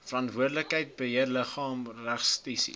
verantwoordelike beheerliggaam registrasie